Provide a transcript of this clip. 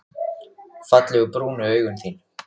Fallegu brúnu augun þín.